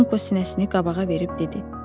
Danqo sinəsini qabağa verib dedi: